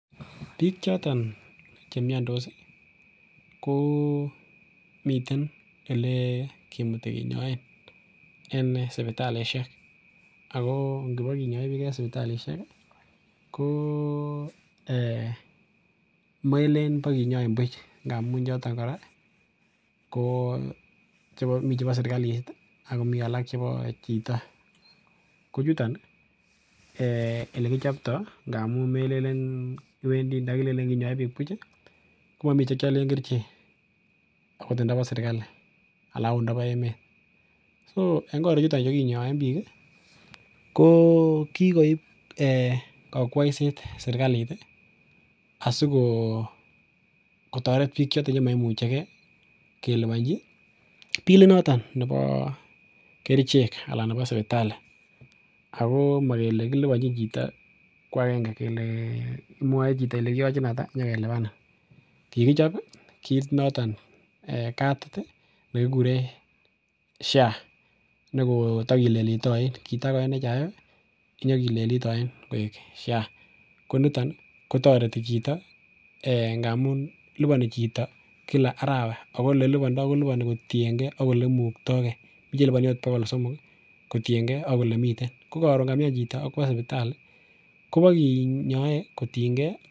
Biik choton chemiandos komiten elekimuti kinyoen en sipitalisiek ago ngibokinyoe biik en sipitalisiek komelen bokinyoin buch ngamun choton kora komiten chebo sergalit ak komi alak chebo chito. Kochutan olekichopto komelenin kinyoe biik buch, komami chekialen kerichek agot indobo sergali ana agot ndabo emet. Soen korichuto che kinyoen biik ko kikoip kakwoiset sergalit asikotoret biik choton moimuchege kelubanchi bilit noton nebo kerichek anan nebo sipitali ago makele makilubanchin chito kwagenge kwa kelubanin. Kikichop kit noton, kadit nekikuren SHA nekotakileliti oin. Kitako NHIF kinyakilelit oin koek sha. Koniton kotareti chito ngamun lipani chito kila arawa ago olelubando kolupani kotienge ak olemuktoge. Mi chelubani agot bogol somok kotienge ak olemiten. Ko karun kamian chito akwo supitali, kobokinyoe kotienge.